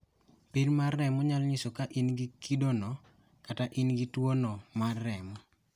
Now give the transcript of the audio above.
Pim mar remo nyalo nyiso ka in gi kidono kata ni in gi tuwono mar remo .